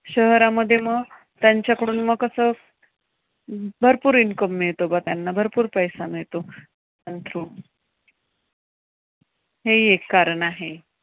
शहरामध्ये मग त्यांच्याकडून मग कसं भरपूर income मिळतो मग त्यांना भरपूर पैसे मिळतो. त्या through. हे एक कारण आहे.